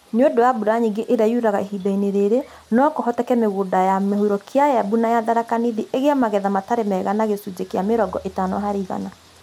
Nĩ ũndũ wa mbura nyĩngĩ ĩrĩa yuraga ihinda-inĩ rĩrĩ, no kũhoteke mĩgũnda ya mũhuro kĩa Embu na ya Tharaka Nithi ĩgĩe magetha matarĩ mega na gĩcunjĩ kĩa mĩrongo ĩtano harĩ igana.